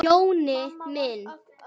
Jonni minn!